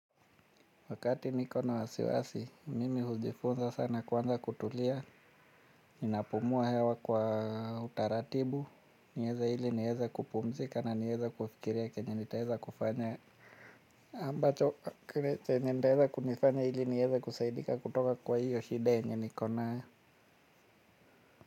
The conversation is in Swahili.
Wakati nikona wasiwasi, mimi hujifunza sana kwanza kutulia, ninapumua hewa kwa utaratibu, niweze ili niweze kupumzika na niweze kufikiria kenye nitaweza kufanya. Ambacho, kenye nitaweza kunifanya ili niweze kusaidika kutoka kwa hiyo shida yenye niko nayo.